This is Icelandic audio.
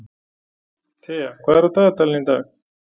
Tea, hvað er á dagatalinu í dag?